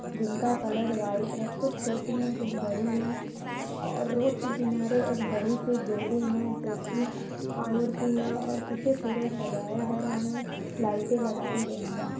जिनका colour white है कुछ छोटी हैं कुछ बड़ी हैं और रोड के किनारे एक बड़ी सी बिल्डिंग है जोकि की है और इसे पूरा सजाया गया है लाइटें लगाई गई हैं।